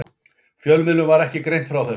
Fjölmiðlum var ekki greint frá þessu